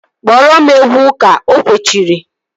Kpọọrọ m egwu ụka! O kwechiri